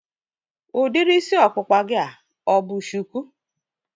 Udiri isi ọkpụkpa gị a ọ bụ shuku?